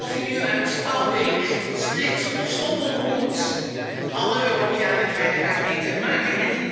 Of je nu uit Spalbeek, Split of Stockholm komt alle Europeanen krijgen hiermee te maken.